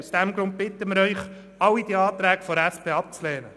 Aus diesem Grund bitten wir Sie, alle Anträge der SP abzulehnen.